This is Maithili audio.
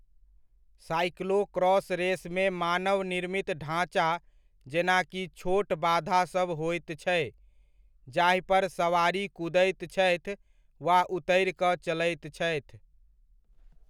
साइक्लोक्रॉस रेसमे मानव निर्मित ढ़ाँचा जेनाकि छोट बाधासभ होयत छै, जाहिपर सवारी कूदैत छथि वा उतरि कऽ चलैत छथि